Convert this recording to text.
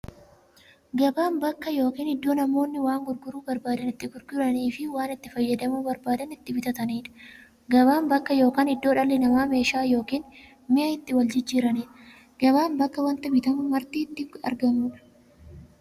Gabaan bakka yookiin iddoo namoonni waan gurguruu barbaadan itti gurguraniifi waan itti fayyadamuu barbaadan itti bitataniidha. Gabaan bakka yookiin iddoo dhalli namaa meeshaa yookiin mi'a itti waljijjiiraniidha. Gabaan bakka wanti bitamu marti itti argamuudha.